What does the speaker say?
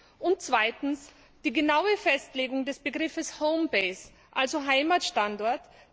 1. Zweitens Die genaue Festlegung des Begriffes home base also Heimatstandort.